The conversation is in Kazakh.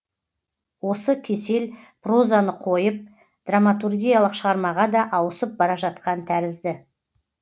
осы кесел прозаны қойып драматургиялық шығармаға да ауысып бара жатқан тәрізді